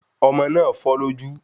Ọmọ náà fọ́ lójú